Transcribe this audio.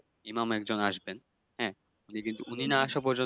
ইমাম একজন আসবেন হ্যা? উনি কিন্তু উনি না আসা পর্যন্ত